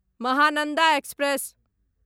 Mahananda express